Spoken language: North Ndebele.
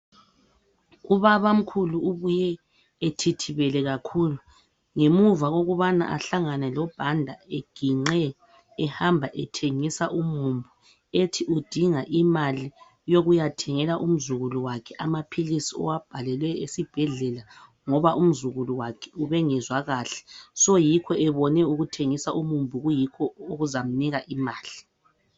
Ubabamkhulu ubuye ethithibele kakhulu ngemuva kokubana ahlangana loBhanda eginqe ehamba ethengisa umumbu .Ethi udinga imali eyokuya thengela umzukulu wakhe amaphilisi owabhalelwe esibhedlela, ngoba umzukulu wakhe ubengezwa kahle. So yikho ebone ukuthengisa umumbu kuyikho okuzamnika imali .